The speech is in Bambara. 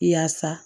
Yaasa